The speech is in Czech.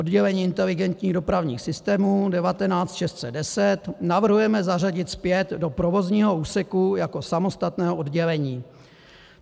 Oddělení inteligentních dopravních systémů 19610 navrhujeme zařadit zpět do provozního úseku jako samostatné oddělení.